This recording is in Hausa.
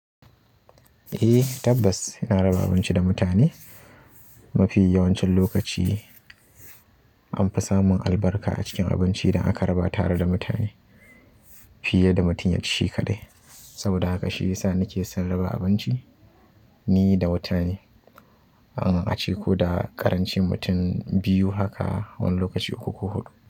Eh tabbas ina raba abinci da mutane. Mafiya yawancin lokaci anfi samun albarka a cikin abincin da aka raba tare da mutane fiye da mutum ya ci kaɗai. Saboda haka shi yasa nike son raba abinci ni da mutane, an ace ko da ƙarancin mutum biyu haka wani lokaci uku ko huɗu.